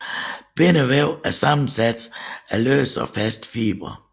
Bindevæv er sammensat af løse og faste fibre